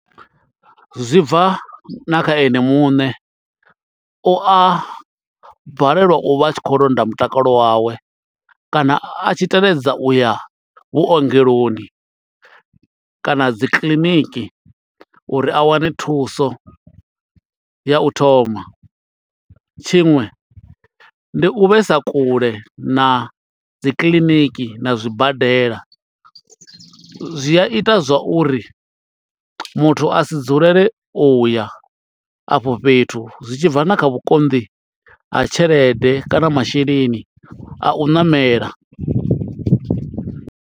Zwi bva na kha ene muṋe u a balelwa u vha a tshi khou londa mutakalo wawe kana a tshi teledza u ya vhuongeloni kana dzi kiḽiniki uri a wane thuso ya u thoma tshiṅwe ndi u vhe sa kule na dzi kiḽiniki na zwibadela zwi a ita zwa uri muthu a si dzulele u ya afho fhethu zwi tshibva na kha vhukonḓi ha tshelede kana masheleni a u ṋamela.